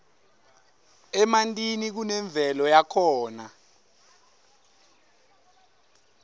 emantini kunemvelo yakhona